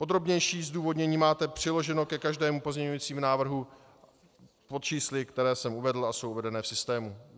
Podrobnější zdůvodnění máte přiloženo ke každému pozměňujícímu návrhu pod čísly, která jsem uvedl a jsou uvedena v systému.